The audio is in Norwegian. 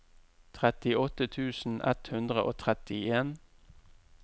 trettiåtte tusen ett hundre og trettien